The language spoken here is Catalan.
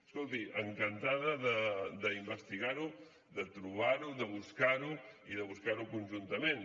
escolti encantada d’investigar ho de trobar ho de buscar ho i de buscar ho conjuntament